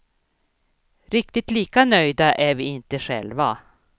Riktigt lika nöjda är vi inte själva.